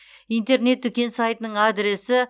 интернет дүкен сайтының адресі